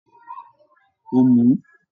He drank it